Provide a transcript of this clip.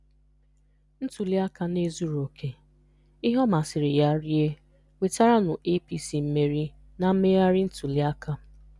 Ntuliaka na-ezughị oke- ihe ọ masịrị ya rie nwetaranụ APC mmeri na mmegharị ntuliaka.